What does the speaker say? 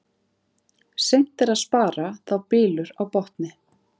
Seint er að spara þá bylur á botni.